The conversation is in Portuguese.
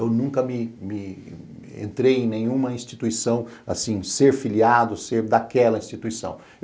Eu nunca me me entrei em nenhuma instituição, assim, ser filiado, ser daquela instituição.